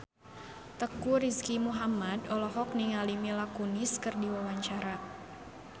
Teuku Rizky Muhammad olohok ningali Mila Kunis keur diwawancara